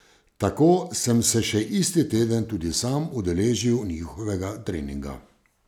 Tako sem se še isti teden tudi sam udeležil njihovega treninga.